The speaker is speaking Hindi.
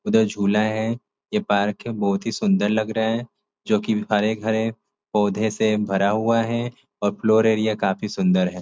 उधर झुला है। यह पार्क है। बहुत ही सुंदर लग रहा है जोकि हरे भरे पोधे से भरा हुआ है और फ्लोर एरिया काफ़ी सुंदर है।